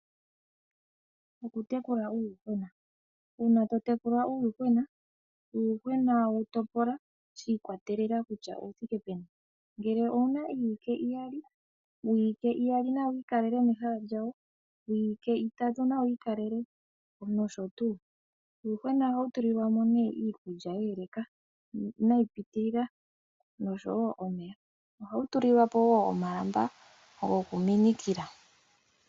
Okutekula uuyuhwena. Uuna to tekula uuyuhwena, uuyuhwena wu topola, shi ikwatelela kutya owu thike peni. Ngele owu na iiwike iyali, wiiwike iyali nawu ikalele mehala lyawo, wiiwike itatu nawu ikalele, nosho tuu. Uuyuhwena ohawu tulilwa mo iikulya yeeleka, inayi pitilila, nosho wo omeya. Ohawu tulilwa po wo omalamba gokuminikila.